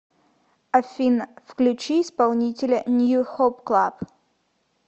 афина включи исполнителя нью хоуп клаб